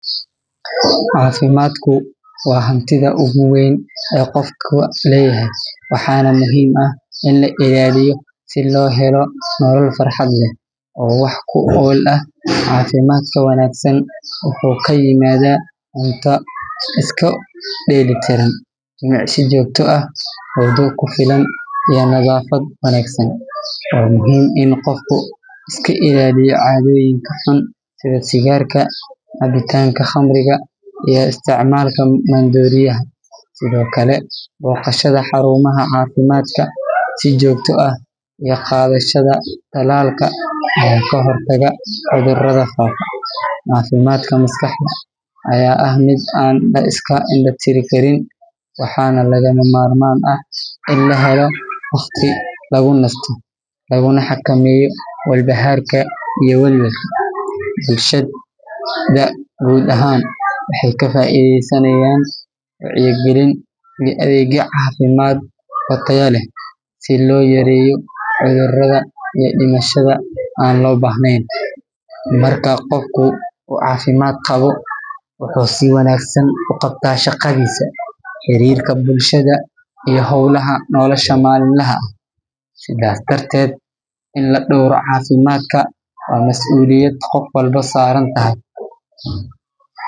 Cafimaadku waa hantida ugu weyn oo qofka leyahay waxaana muhiim ah in la ilaaliyo si loo helo nolol farxad leh oo wax ku ool ah, cafimaadka wanagsan wuxuu kaimaada cunto isku deeli tiran, nadafad wanagsan, waa muhiim in qofka iska ilaaliyo cadoyin xun sida sigaarka, cabitaanka qamriga iyo isticmaalka maan dooriyaha, sido kale boqashada xarumaha cafimaadka si joogta ah iyo qadashada talaalka ayaa ka hor taga cudurada xun, cafimaadka maskaxda ayaa ah mid laiska inda tiri karin waxaana lagama marmaan ah in la helo waqti lagu nasto laguna xakameeyo wal bahaarka iyo walwal, bulshada guud ahaan waxeey ka faideysanayaan wacyi galin iyo adeegyo cafimaad oo tayo leh si loo yareeyo cudurada iyo dimashada aan loo bahneen, Marka qofku uu cafimaad qabo wuxuu si wanagsan uqabtaa shaqadiisa, xariirka bulshada iyo howlaha nolosha malim laha, sida darteed in la dowro cafimaadka waa masuuliyad qof walbo saaran tahay.